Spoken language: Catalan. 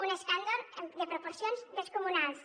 un escàndol de proporcions descomunals